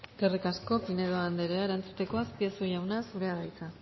eskerrik asko pinedo anderea erantzuteko azpiazu jauna zurea da hitza